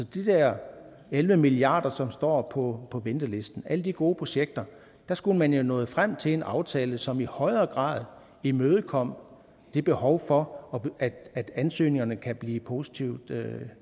de der elleve milliard kr som står på ventelisten alle de gode projekter skulle man jo være nået frem til en aftale som i højere grad imødekom det behov for at ansøgningerne kan blive positivt